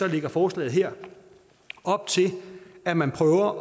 lægger forslaget her op til at man prøver at